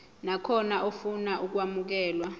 nakhona ofuna ukwamukelwa